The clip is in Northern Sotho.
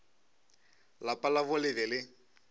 lapa labo le be le